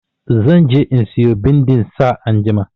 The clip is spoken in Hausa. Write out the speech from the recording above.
Zan je in siyo bindin sa anjima.